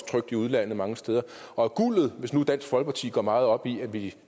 trykt i udlandet mange steder hvis nu dansk folkeparti går meget op i